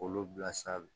K'olu bila sa